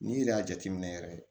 N'i yɛrɛ y'a jateminɛ yɛrɛ